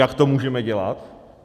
Jak to můžeme dělat?